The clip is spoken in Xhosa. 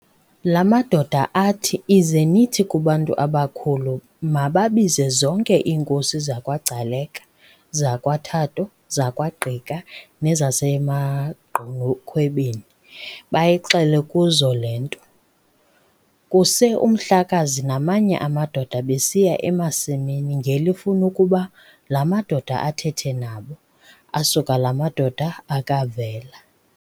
La madoda athi, ize nithi kubantu abakhulu mababize zonke iinkosi zakwaGcaleka, zakwaThatho, zakwaGqika, nezasemaGqunukhwebeni, bayixele kuzo le nto. Kuse uMhlakaza namanye amadoda besiya emasimini ngelifuna ukuba la madoda athethe nabo, asuka la madoda akavela.